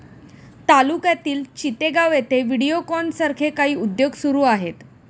तालुक्यातील चितेगाव येथे व्हिडिओकॉन सारखे काही उद्योग सुरू आहेत